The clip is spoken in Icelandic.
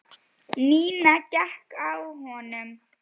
Nína hékk á honum.